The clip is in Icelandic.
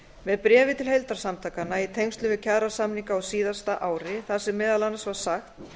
með bréfi til heildarsamtakanna í tengslum við kjarasamninga á síðasta ári þar sem meðal annars var sagt